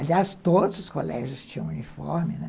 Aliás, todos os colégios tinham uniforme, né?